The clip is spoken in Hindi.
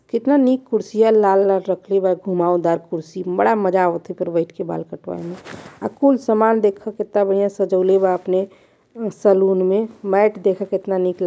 कितना नीक कुर्सिया लाल लाल रक्खले बा घुमाऊ दार कुर्सी बड़ा मजा आवत अहिपर बैठ बइठ के बाल कटवावे मे कुल सामान देखय कितना बढ़िया सजाउले बा अपने शैलून मे मैंट देखो कितना नीक ला --